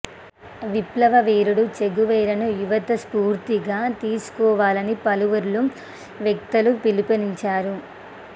విప్లవ వీరుడు చెగువేరాను యువత స్ఫూర్తిగా తీసుకోవాలని పలువురు వక్తలు పిలుపునిచ్చారు